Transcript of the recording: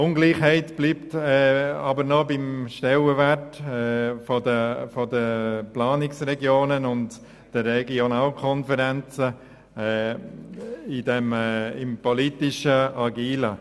Eine Ungleichheit bleibt aber noch beim Stellenwert von Planungsregionen und Regionalkonferenzen im politischen Handeln.